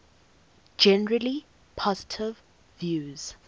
generally positive reviews